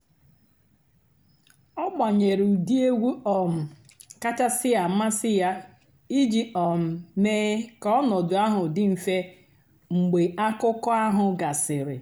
ọ́ gbànyèré ụ́dị́ ègwú um kàchàsị́ àmásị́ yá ìjì um méé kà ọ̀ nọ̀dụ́ àhú́ dị́ m̀fè mg̀bé àkụ́kọ̀ àhú́ gàsị́rị́.